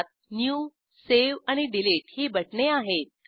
त्यात new save आणि delete ही बटणे आहेत